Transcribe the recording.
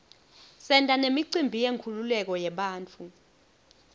senta nemicimbi yenkululeko yabantfu